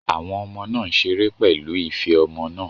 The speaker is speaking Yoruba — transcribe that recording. Àwọn ọmọ náà ń ṣeré pẹ̀lú ife ọmọ náà